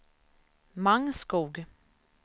Mangskog